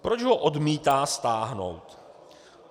Proč ho odmítá stáhnout?